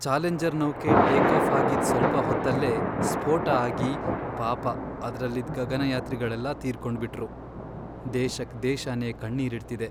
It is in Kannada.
ಚಾಲೆಂಜರ್ ನೌಕೆ ಟೇಕಾಫ್ ಆಗಿದ್ ಸ್ವಲ್ಪ ಹೊತ್ತಲ್ಲೇ ಸ್ಫೋಟ ಆಗಿ ಪಾಪ ಅದ್ರಲ್ಲಿದ್ ಗಗನಯಾತ್ರಿಗಳೆಲ್ಲ ತೀರ್ಕೊಂಡ್ಬಿಟ್ರು.. ದೇಶಕ್ ದೇಶನೇ ಕಣ್ಣೀರಿಡ್ತಿದೆ.